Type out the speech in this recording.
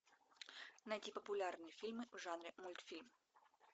найти популярные фильмы в жанре мультфильм